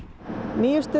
nýjasta